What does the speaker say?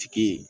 Tigi